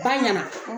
Ba ɲɛna